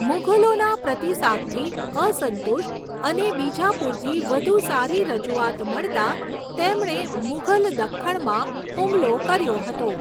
મુઘલોના પ્રતિસાદથી અસંતુષ્ટ, અને બીજાપુરથી વધુ સારી રજૂઆત મળતા, તેમણે મુઘલ દખ્ખણમાં હુમલો કર્યો હતો.